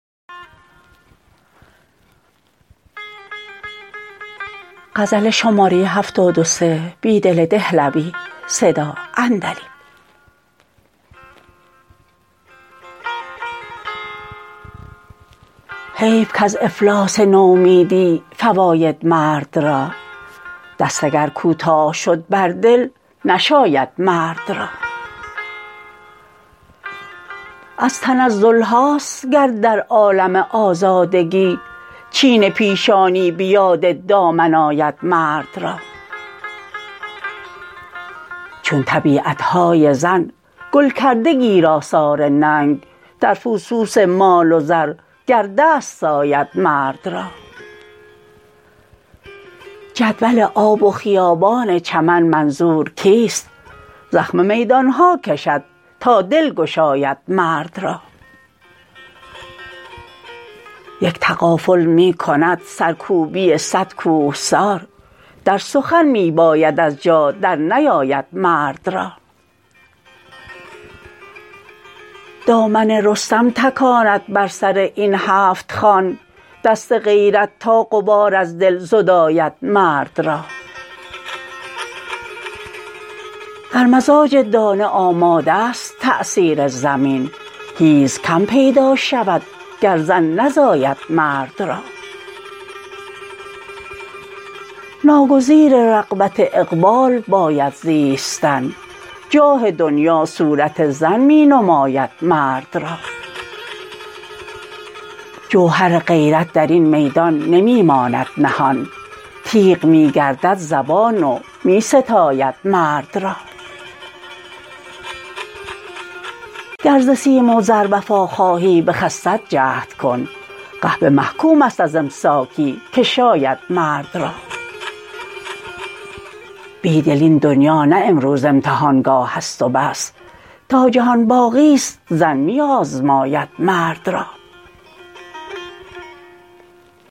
حیف کز افلاس نومیدی فواید مرد را دست اگرکوتاه شد بر دل نشاید مرد را از تنزلهاست گر در عالم آزادگی چین پیشانی به یاد دامن آید مرد را چون طبیعتهای زن گل کرده گیر آثار ننگ در فسوس مال و زر گر دست ساید مرد را جدول آب و خیابان چمن منظورکیست زخم میدانهاکشد تا دل گشاید مرد را یک تغافل می کند سرکوبی صدکوهسار در سخن می باید از جا در نیاید مرد را دامن رستم تکاند بر سر این هفت خوان دست غیرت تا غبار از دل زداید مرد را در مزاج دانه آماده ست تأثیر زمین حیزکم پیدا شودگر زن نزاید مرد را ناگزیر رغبت اقبال باید زیستن جاه دنیا صورت زن می نماید مرد را جوهر غیرت درین میدان نمی ماند نهان تیغ می گردد زبان و می ستاید مرد را گر ز سیم وزر وفاخوهی به خست جهدکن قحبه محکوم است ازامساکی که شایدمردرا بیدل این دنیا نه امروز امتحانگاهست و بس تا جهان باقی ست زن می آزماید مرد را